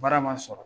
Baara ma sɔrɔ